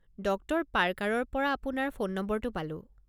Doctor পাৰ্কাৰৰ পৰা আপোনাৰ ফোন নম্বৰটো পালোঁ।